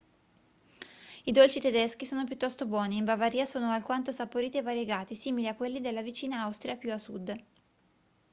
i dolci tedeschi sono piuttosto buoni e in bavaria sono alquanto saporiti e variegati simili a quelli della vicina austria più a sud